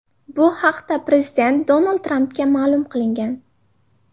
Bu haqda prezident Donald Trampga ma’lum qilingan.